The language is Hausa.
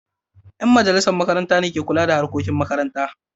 Yan majalisar makaranta ne ke kula da harkokin makaranta.